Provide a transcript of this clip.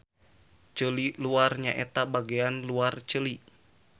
Ceuli luar nyaeta bagean luar ceuli.